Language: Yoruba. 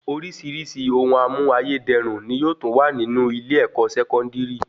Orísirísi ohun amú ayé dẹrùn ni yóò tún wà nínú ilé-ẹ̀kọ́ Sẹkọndiri